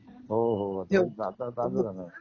हो हो तेच आता चालू राहणार.